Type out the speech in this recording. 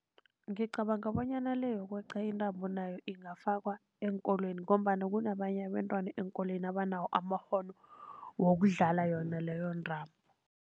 Ngicabanga bonyana le yokweqa intambo nayo ingafakwa eenkolweni, ngombana kunabanye abentwana eenkolweni abanawo amakghono wokudlala yona leyo ntambo.